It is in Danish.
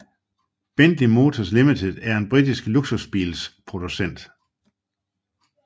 Bentley Motors Limited er en britisk luksusbilsproducent